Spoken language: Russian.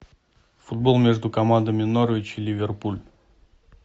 футбол между командами норвич и ливерпуль